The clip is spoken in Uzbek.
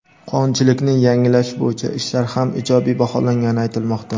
qonunchilikni yangilash bo‘yicha ishlar ham ijobiy baholangani aytilmoqda.